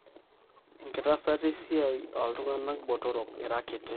enkiasata esiai oltungana botorok ira kiti.